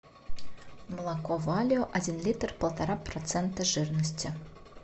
молоко валио один литр полтора процента жирности